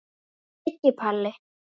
Siggi Palli.